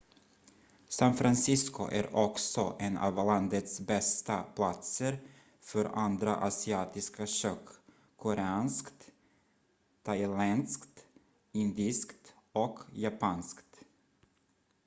san francisco är också en av landets bästa platser för andra asiatiska kök koreanskt thailändskt indiskt och japanskt